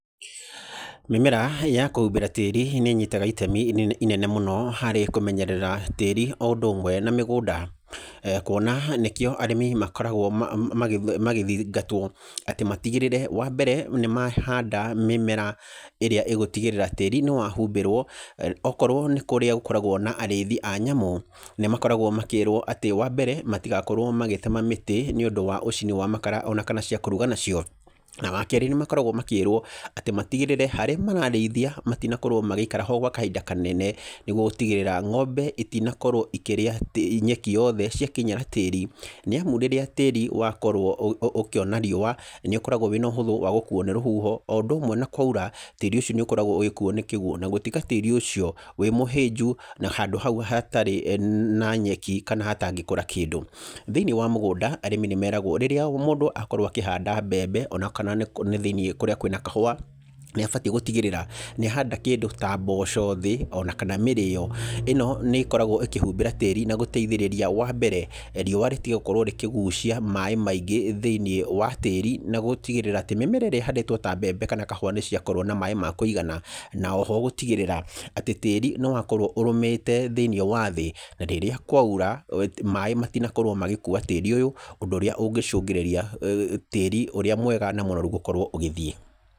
Mĩmera ya kũhumbĩra tĩĩri nĩ ĩnyitaga itemi rĩnene mũno harĩ kũmenyerera tĩĩri, o ũndũ ũmwe na mĩgũnda, kuona nĩkĩo arĩmi makoragwo magĩthingatwo atĩ matigĩrĩre, wa mbere nĩ mahanda mĩmera ĩrĩa ĩgũtigĩrĩra tĩĩri nĩ wahumbĩrwo. Okorwo nĩ kũrĩa gũkoragwo na areithi wa nyamũ, nĩ makoragwo makĩrwo atĩ, wa mbere matigakorwo magĩtema mĩtĩ nĩ ũndũ wa ũcini wa makara, ona kana cia kũruga nacio. Na wakerĩ, nĩ makoragwo makĩrwo atĩ matigĩrĩre harĩa marareithia matinakorwo magĩikara ho gwa kahinda kanene, nĩguo gũtigĩrĩra ngombe itinakorwo ikĩrĩa nyeki yoothe ciakinyĩra tĩĩri, nĩ amu rĩrĩa tĩĩri wakorwo ũkĩona riũa nĩ ũkoragwo wĩna ũhũthũ wa gũkuo nĩ rũhuho, o ũndũ ũmwe na kwaura tĩĩri ũcio nĩ ũkoragwo ũgĩkuo nĩ kĩguũ, ona gũtĩga tĩĩri ũcio wĩ mũhĩnju, na handũ hau hatarĩ na nyeki, kana hatangĩkũra kĩndũ. Thĩiniĩ wa mĩgũnda arĩmi nĩ meragwo rĩrĩa mũndũ akorwo akĩhanda mbembe, ona kana nĩ thĩiniĩ kũrĩa kwĩna kahũa, nĩ abatiĩ gũtigĩrĩra nĩ ahanda kĩndũ ta mboci thĩ, ona kana mĩrĩyo. ĩno nĩ ĩkoragwo ĩkĩhumbĩra tĩĩri, na gũteithĩrĩria, wa mbere, riũa rĩtige gũkorwo rĩkĩgũcia maaĩ maingĩ thĩiniĩ wa tĩĩri na gũtigigĩrĩra mĩmera ĩrĩa ĩhandĩtwo ta mbembe, kana kahũa nĩ ciakorwo na maaĩ ma kũigana. Na oho, gũtigĩrĩra atĩ tĩĩri nĩ wakorwo ũrũmĩte thĩiniĩ wa thĩĩ, na rĩrĩa kwaura maaĩ matinakorwo magĩkuũa tĩĩri ũyũ, ũndũ ũrĩa ũngĩcũngĩrĩria tĩĩri ũrĩa mwega na mũnoru gũkorwo ũgĩthiĩ.